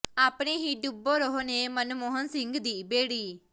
ਆਪਣੇ ਹੀ ਡੁਬੋ ਰਹੇ ਨੇ ਮਨਮੋਹਨ ਸਿੰਘ ਦੀ ਬੇੜੀ